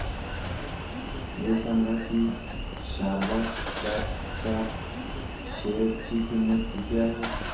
हे सांगा की शारदा क्रॉप च्या शेअर ची किंमत किती आहे